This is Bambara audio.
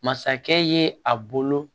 Masakɛ ye a bolo